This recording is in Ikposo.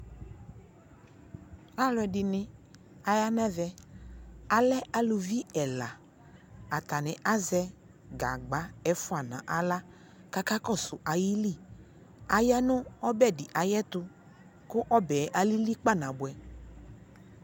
Aluɛ dini aya nɛ vɛAlɛ aluvi ɛla Atani azɛ gagba ɛfua na ɣla kaka kɔsu ayi li Aya nu ɔbɛ di ayɛ tuKu ɛbɛ alili kpa na buɛ